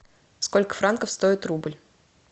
сколько франков стоит рубль